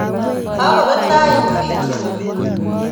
Kakobet tait bikyok